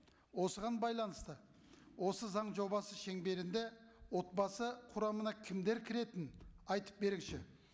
осыған байланысты осы заң жобасы шеңберінде отбасы құрамына кімдер кіретінін айтып беріңізші